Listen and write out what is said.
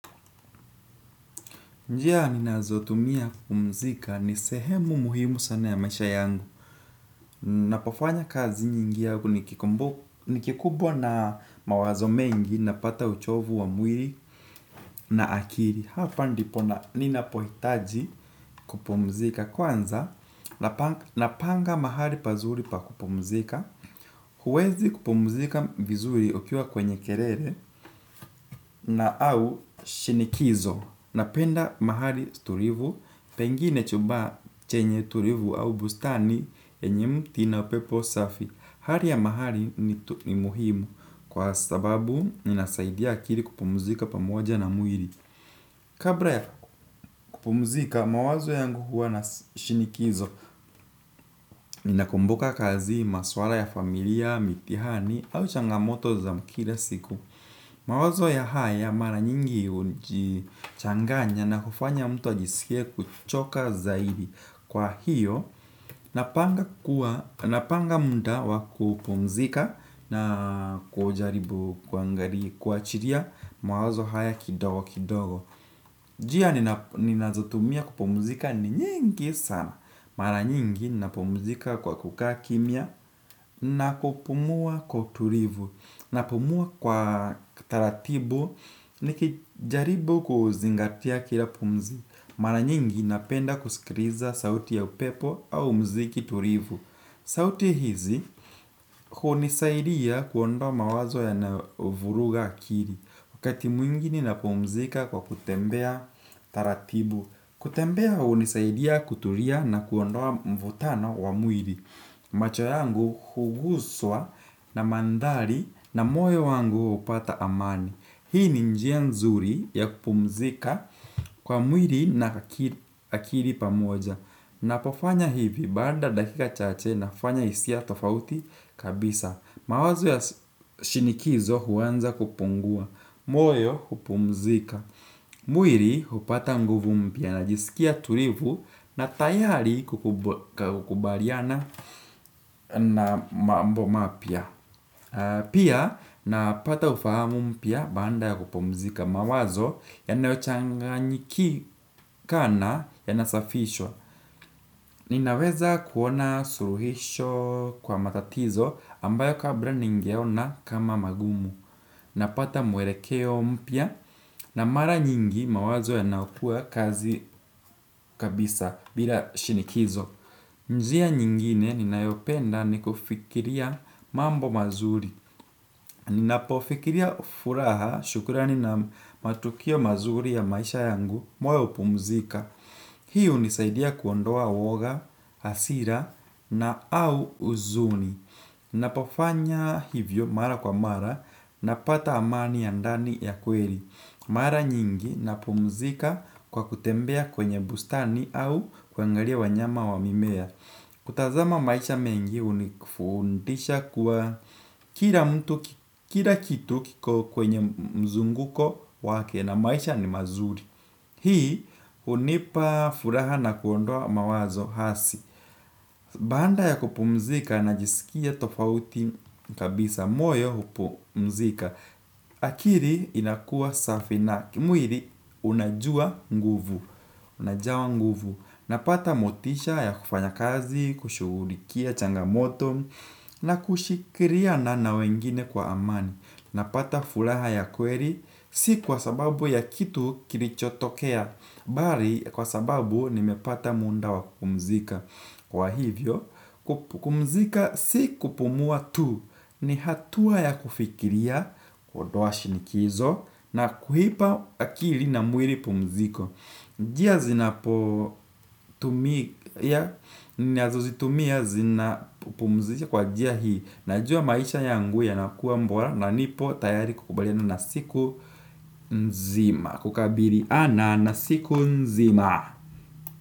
Njia ninazotumia kupumzika ni sehemu muhimu sana ya maisha yangu. Napofanya kazi nyingi au nikiku nikikubwa na mawazo mengi napata uchovu wa mwiri na akiri. Hapa ndipo na ninapohitaji kupumzika kwanza napa napanga mahali pazuri pa kupumzika. Huwezi kupumzika vizuri ukiwa kwenye kerere na au shinikizo. Napenda mahali tulivu, pengine chumba chenye tulivu au bustani yenye mti na pepo safi. Hari ya mahali ni muhimu kwa sababu ninasaidia akiri kupumzika pamoja na mwiri. Kabra ya kupumzika, mawazo yangu huwa na shinikizo. Ninakumbuka kazi, maswala ya familia, mitihani au changamoto za kira siku. Mawazo ya haya mara nyingi hujichanganya na kufanya mtu wa ajisikie kuchoka zaidi, kwa hiyo napanga muda wa kupumzika na kujaribu kuangarii kuwachilia mawazo haya kidogo kidogo. Jia nina ninazotumia kupumzika ni nyingi sana. Mara nyingi napumzika kwa kukaa kimya na kupumua kwa utulivu. Napumua kwa taratibu nikijaribu kuzingatia kila pumzi. Mara nyingi napenda kusikiriza sauti ya upepo au mziki turivu. Sauti hizi hunisaidia kuondoa mawazo yanayovuruga akiri. Wakati mwinginie napumzika kwa kutembea taratibu. Kutembea hunisaidia kutulia na kuondoa mvutano wa mwiri. Macho yangu huguswa na mandhali na moyo wangu hupata amani. Hii ni njia nzuri ya kupumzika kwa mwiri na aki akiri pamoja. Napofanya hivi, baada ya dakika chache nafanya hisia tofauti kabisa. Mawazo ya shinikizo huanza kupungua. Moyo hupumzika. Mwiri hupata nguvu mpya najisikia tulivu na tayari kukubariana na mambo mapya. Pia napata ufahamu mpya baanda ya kupumzika mawazo yanayochangakikana yanasafishwa. Ninaweza kuona suluhisho kwa matatizo ambayo kabra ningeona kama magumu. Napata muerekeo mpya na mara nyingi mawazo yanaukua kazi kabisa bila shinikizo. Njia nyingine ninayopenda ni kufikiria mambo mazuri. Ninapofikiria furaha shukrani na matukio mazuri ya maisha yangu moyo hupumzika. Hii hunisaidia kuondoa uoga, hasira na au huzuni. Ninapofanya hivyo mara kwa mara napata amani ya ndani ya kweli. Mara nyingi napumzika kwa kutembea kwenye bustani au kuangalia wanyama wa mimea. Kutazama maisha mengi hunifundisha kuwa kila mtu kila kitu kwenye mzunguko wake na maisha ni mazuri. Hii hunipa furaha na kuondoa mawazo hasi. Baanda ya kupumzika najisikia tofauti kabisa, moyo hupumzika. Akiri inakuwa safi na kimwiri unajua nguvu. Unajawa nguvu, napata motisha ya kufanya kazi, kushughulikia changamoto, na kushikiriana na wengine kwa amani. Napata furaha ya kweri, si kwa sababu ya kitu kilichotokea, bari kwa sababu nimepata munda wa kupumzika. Kwa hivyo, kupumzika si kupumua tu, ni hatua ya kufikiria, kuondoa shinikizo, na kuipa akili na mwiri pumziko. Njia zinapotumia, ninazozitumia zinapumzisha kwa njia hii. Najua maisha yangu yanakuwa mbora na nipo tayari kukubaliana na siku nzima. Kukabiliana na siku nzima.